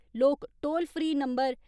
लोक toll free नं .